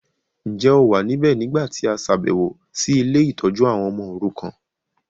Njẹ́ o wa níbẹ̀ nígbàtí a ṣàbẹ̀wọ̀ si ile-itójú àwon ọmọ orukan?